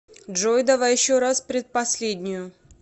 джой давай еще раз предпоследнюю